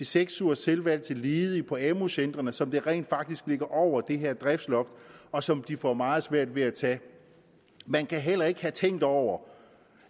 seks ugers selvvalgt uddannelse til ledige på amu centrene som rent faktisk ligger over det her driftsloft og som de får meget svært ved at tage man kan heller ikke have tænkt over